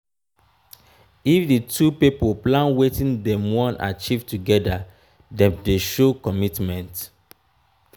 if di two pipo plan wetin dem won achieve together dem de show commitment